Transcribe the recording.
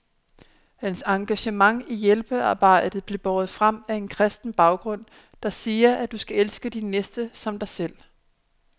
Hans engagement i hjælpearbejdet bliver båret frem af en kristen baggrund, der siger, at du skal elske din næste som dig selv.